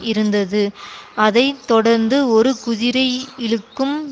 இருந்தது அதை தொடர்ந்து ஒரு குதிரை இழுக்கும்